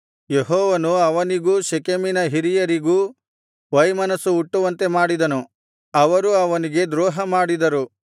ಯೆಹೋವನು ಅವನಿಗೂ ಶೆಕೆಮಿನ ಹಿರಿಯರಿಗೂ ವೈಮನಸ್ಸು ಹುಟ್ಟುವಂತೆ ಮಾಡಿದನು ಅವರು ಅವನಿಗೆ ದ್ರೋಹಮಾಡಿದರು